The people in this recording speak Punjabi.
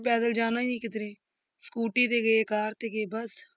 ਪੈਦਲ ਜਾਣਾ ਹੀ ਨੀ ਕਿੱਧਰੇ, ਸਕੂਟੀ ਤੇ ਗਏ ਕਾਰ ਤੇ ਗਏ ਬਸ।